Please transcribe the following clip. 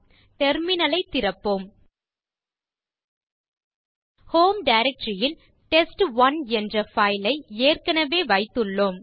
terminal ஐத் திறப்போம் home directory ல் டெஸ்ட்1 என்ற பைல் ஐ ஏற்கனவே வைத்துள்ளோம்